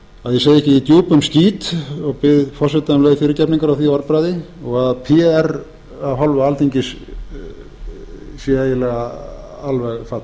að ég segi ekki í djúpum skít og bið forseta um leið fyrirgefningar á því orðbragði og að pr af hálfu alþingis sé eiginlega alveg